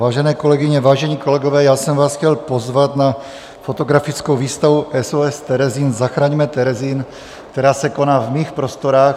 Vážené kolegyně, vážení kolegové, já jsem vás chtěl pozvat na fotografickou výstavu SOS Terezín, zachraňme Terezín, která se koná v mých prostorách.